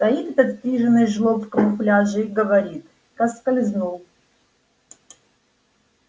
стоит этот стриженый жлоб в камуфляже и говорит проскользнул